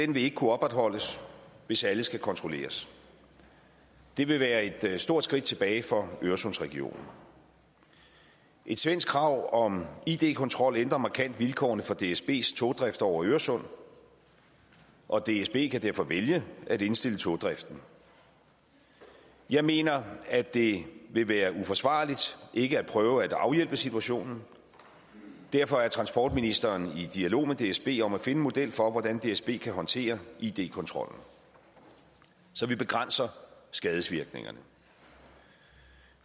vil ikke kunne opretholdes hvis alle skal kontrolleres det vil være et stort skridt tilbage for øresundsregionen et svensk krav om id kontrol ændrer markant vilkårene for dsbs togdrift over øresund og dsb kan derfor vælge at indstille togdriften jeg mener at det vil være uforsvarligt ikke at prøve at afhjælpe situationen derfor er transportministeren i dialog med dsb om at finde en model for hvordan dsb kan håndtere id kontrollen så vi begrænser skadevirkningerne